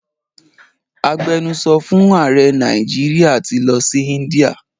Agbenusọ fún ààrẹ Nàìjíríà ti lọ sí India.